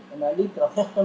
að þetta